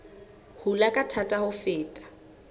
hula ka thata ho feta